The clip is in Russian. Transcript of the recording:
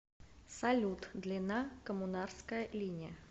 салют длина коммунарская линия